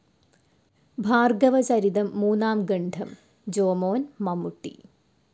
ഭാർഗ്ഗവ ചരിതം മൂന്നാം ഖണ്ഡം ജോമോൻ മമ്മൂട്ടി